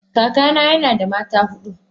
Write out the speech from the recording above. Kakana yana da mata hudu.